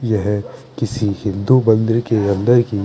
येहे किसी हिन्दू मंदिर के अन्दर की--